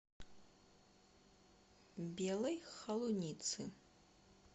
белой холуницы